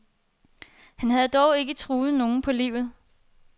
Han havde dog ikke truet nogen på livet.